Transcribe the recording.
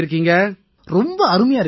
ரொம்ப அருமையா இருக்கேன்ங்கய்யா